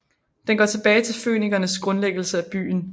Den går tilbage til fønikernes grundlæggelse af byen